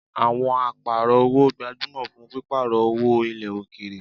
Awon aparo-owo gbajumo fun piparo owo ile okeere